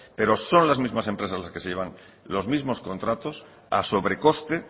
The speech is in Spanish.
pero son las mismas empresas las que se llevan los mismos contratos a sobrecoste